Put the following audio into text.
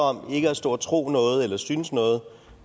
om ikke at stå og tro noget eller synes noget